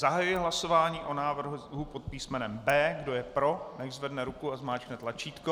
Zahajuji hlasování o návrhu pod písmenem B. Kdo je pro, nechť zvedne ruku a zmáčkne tlačítko.